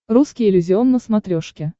русский иллюзион на смотрешке